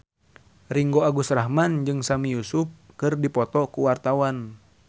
Ringgo Agus Rahman jeung Sami Yusuf keur dipoto ku wartawan